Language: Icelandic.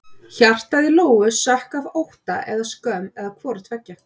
Hjartað í Lóu sökk af ótta eða skömm eða hvoru tveggja.